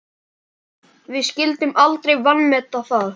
Við skyldum aldrei vanmeta það.